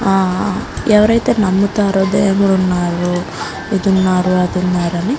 ఆ ఎవరైతే నమ్ముతారో దేవుడు ఉన్నారు ఇది ఉన్నారు అది ఉన్నారని --